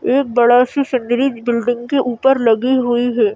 एक बड़ा सी सीनरी बिल्डिंग के ऊपर लगी हुई है।